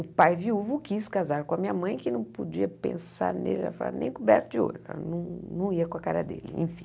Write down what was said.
O pai viúvo quis casar com a minha mãe, que não podia pensar nele, nem coberto de ouro, não não ia com a cara dele, enfim.